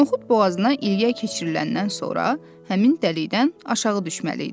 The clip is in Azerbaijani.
Noxud boğazına ilgək keçiriləndən sonra həmin dəlikdən aşağı düşməli idi.